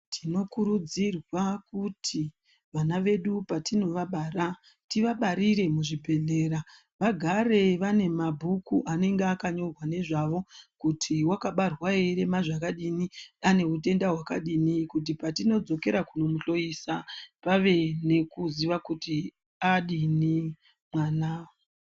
Tinokurudzirwa kuti vana vedu patinovabara, tivabarire muzvibhedhlera, vagare vane mabhuku anenge akanyorwa nezvavo, kuti wakabarwa eirema zvakadini, ane utenda hwakadini, kuti patindzokera kunomuhloyesa vave nekuziva kuti adini mwana.